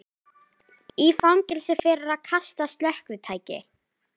Í fangelsi fyrir að kasta slökkvitæki